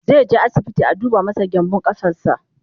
zaije asibiti a duba masa gyanbun ƙafarsa